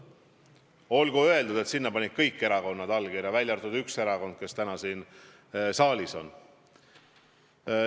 Olgu öeldud, et sinna panid allkirja kõik erakonnad, välja arvatud üks erakond, kes täna siin saalis on.